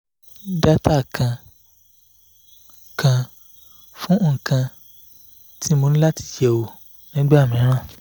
data kan kan fun ikan ti mo ni lati yewo nígbà mìíràn.